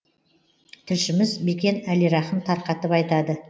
тілшіміз бекен әлирахым тарқатып айтады